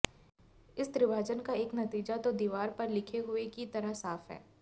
इस त्रिभाजन का एक नतीजा तो दीवार पर लिखे हुए की तरह साफ है